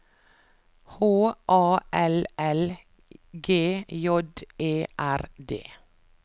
H A L L G J E R D